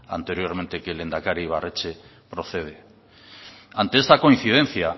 anteriormente que el lehendakari ibarretxe procede ante esta coincidencia